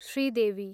Sridevi